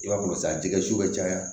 I b'a bolo san dingɛsi bɛ caya